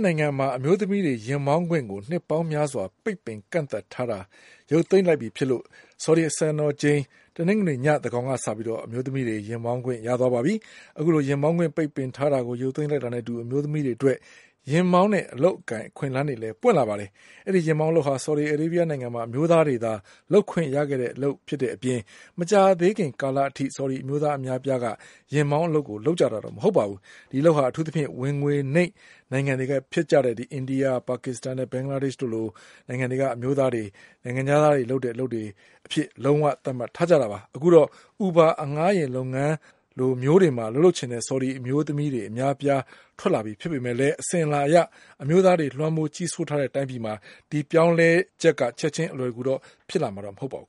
နိုင်ငံမှာ အမျိုးသမီးတွေ ယာဉ်မောင်းခွင့်ကို နှစ်ပေါင်းများစွာ ပိတ်ပင်ကန့်သတ်ထားတာ ရုပ်သိမ်းလိုက်ပြီ ဖြစ်တာကြောင့် ဆော်ဒီစံတော်ချိန် တနင်္ဂနွေညသန်းခေါင်ကစပြီး အမျိုးသမီးတွေ ယာဉ်မောင်းခွင့် ရသွားပါပြီ။ အခုလို ယာဉ်မောင်းခွင့် ပိတ်ပင်ထားတာကို ရုပ်သိမ်းလိုက်တာနဲ့အတူ အမျိုးသမီးတွေအတွက် ယာဉ်မောင်း အလုပ်အကိုင် အခွင့်အလန်းလည်း ပွင့်လာပါတယ်။ အဲဒီယာဉ်မောင်းအလုပ်ဟာ ဆော်ဒီမှာ အမျိုးသားတွေသာ လုပ်ခွင့်ရတဲ့အလုပ် ဖြစ်တဲ့အပြင် မကြာသေးခင်ကာလကအထိ ဆော်ဒီအမျိုးသား အများအပြားက ယာဉ်မောင်းအလုပ်ကို လုပ်ကြတာမဟုတ်ပါဘူး။ ဒီအလုပ်ဟာ အထူးသဖြင့် ဝင်ငွေနိမ့်နိုင်ငံ တွေဖြစ်တဲ့ အိန္ဒိယ၊ ပါကစ္စတန်နဲ့ ဘင်္ဂလာဒေ့ရှ်က အမျိုးသားတွေလို နိုင်ငံခြားသားတွေလုပ်တဲ့ အလုပ်အဖြစ် လုံးဝ သတ်မှတ် ထားကြတာပါ။ အခုတော့ Uber အငှားယာဉ်လုပ်ငန်းလိုမျိုးတွေမှာ အလုပ်လုပ်ချင်တဲ့ ဆော်ဒီအမျိုးသမီး အများအပြား ထွက်လာပြီဖြစ်ပေမဲ့လည်း အစဉ်အလာအရ အမျိုးသားတွေ လွှမ်းမိုး ကြီးစိုးထားတဲ့တိုင်းပြည်မှာ ဒီအပြောင်းအလဲက ချက်ခြင်း အလွယ်တကူတော့ ဖြစ်လာ မှာမဟုတ်ပါဘူး